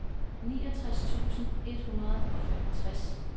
niogtres tusind et hundrede og femogtres